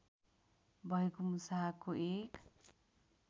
भएको मुसाको एक